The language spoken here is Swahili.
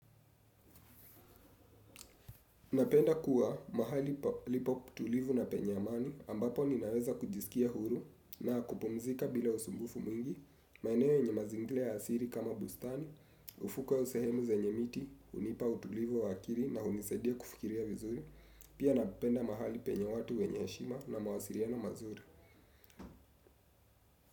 Napenda kuwa mahali palipo tulivu na penye amani ambapo ninaweza kujisikia huru na kupumzika bila usumbufu mwingi, maeneo enye mazingira ya asiri kama bustani, ufuka au sehemu zenye miti, hunipa utulivu wa akili na hunisadia kufikiria vizuri, pia napenda mahali penye watu wenye heshima na mawasiliano mazuri.